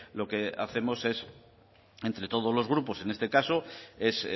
lo que hacemos es entre todos los grupos en este caso es